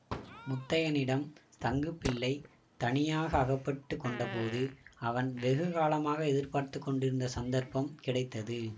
முத்தையனிடம் தங்குப்பிள்ளை தனியாக அகப்பட்டு கொண்டபோது அவன் வெகு காலமாக எதிர்பார்த்து கொண்டிருந்த சந்தர்ப்பம் கிடைத்தது